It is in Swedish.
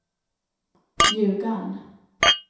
Ljugarn